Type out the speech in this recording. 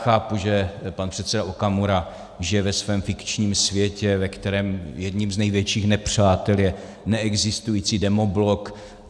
Chápu, že pan předseda Okamura žije ve svém fikčním světě, ve kterém jedním z největších nepřátel je neexistující demoblok.